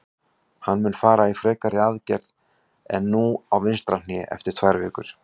Hann mun fara í frekari aðgerð en nú á vinstra hné eftir tvær vikur.